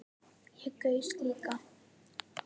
Ég gaus líka